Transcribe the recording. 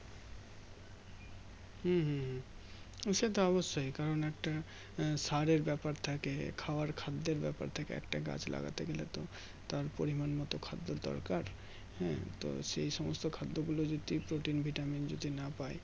হুম হুম হুম সেতো অবশ্যই কারণ একটা আহ সারের বাপের থাকে খওয়ার খাদ্যের ব্যাপার থাকে একটা গাছ লাগাতে গেলে তো তার পরিমান মতো খাদ্যের দরকার হ্যাঁ তো সেই সমস্ত খাদ্য গুলো যদি Protein ভিটামিন যদি না পাই